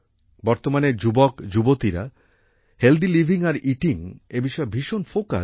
বর্তমানের যুবকযুবতীরা healthy living আর ইটিং এই বিষয়ে ভীষণ ফোকাস্ড